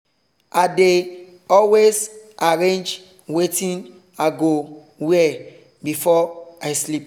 i dey always arrange wetin i go wear before i sleep